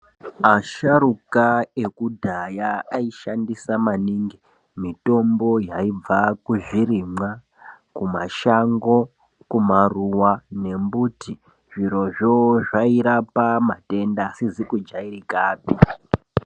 Asharukwa ekudhaya anoshandisa maningi mitombo yaibva kuzvirimwa kumashango kumaruwa nembiti zvirozvo zvairapa matenda asizi kujairikapi.